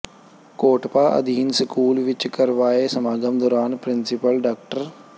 COTPA ਅਧੀਨ school ਵਿੱਚ ਕਰਵਾਏ ਸਮਾਗਮ ਦੌਰਾਨ ਪ੍ਰਿੰਸੀਪਲ ਡਾ